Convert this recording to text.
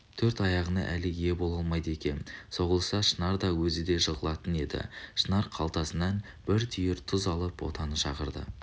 төрт аяғына әлі ие бола алмайды екен соғылса шынар да өзі де жығылатын еді шынар қалтасынан бір түйір тұз алып ботаны шақырды